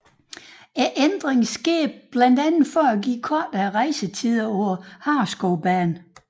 Ændringen skete blandt for at give kortere rejsetider på Hareskovbanen